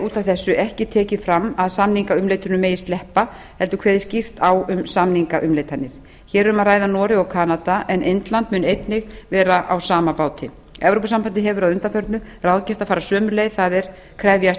út af þessu ekki tekið fram að samningaumleitunum megi sleppa heldur kveði skýrt á um samningaumleitanir hér er um að ræða noreg og kanada en indland mun einnig vera á sama báti evrópusambandið hefur að undanförnu ráðgert að fara sömu leið það er krefjast